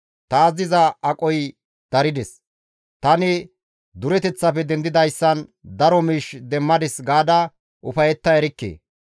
‹Taas diza aqoy darides; Tani dureteththafe dendidayssan daro miish demmadis› gaada ufayetta erikke.